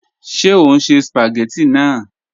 Ṣe o n ṣe spagétì naa?